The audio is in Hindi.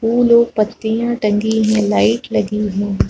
फूल और पत्तियां तंगी है लाइट लगी है।